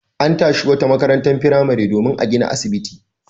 An tashi wata makarantar firamare domin a gina asibiti.